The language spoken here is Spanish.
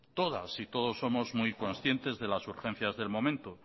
todas y todos somos muy conscientes de las urgencias del momento